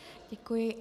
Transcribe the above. Děkuji.